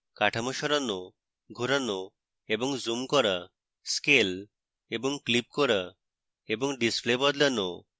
কাঠামো সরানো ঘোরানো এবং zoom করা scale এবং clip করা এবং display বদলানো